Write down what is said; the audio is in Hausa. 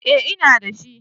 eh ina da shi